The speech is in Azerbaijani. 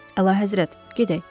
Əla həzrət, gedək.